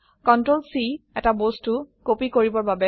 CTRL C এটা বস্তু copy কৰিবৰ বাবে